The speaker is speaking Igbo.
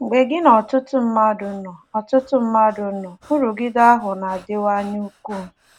Mgbe gị na ọtụtụ mmadụ nọ, ọtụtụ mmadụ nọ, nrụgide ahụ na-adịwanye ukwuu.